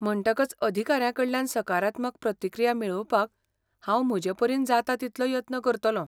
म्हणटकच अधिकाऱ्यांकडल्यान सकारात्मक प्रतिक्रिया मेळोवपाक हांव म्हजेपरीन जाता तितलो यत्न करतलों.